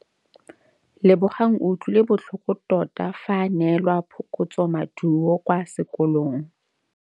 Lebogang o utlwile botlhoko tota fa a neelwa phokotsômaduô kwa sekolong.